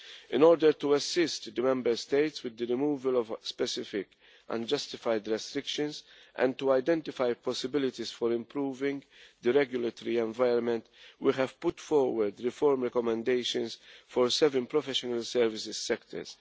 In order to assist the Member States with the removal of specific unjustified restrictions and to identify possibilities for improving the regulatory environment, we have put forward reform recommendations for seven professional services sectors.